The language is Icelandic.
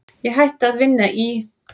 Ég hætti að vinna í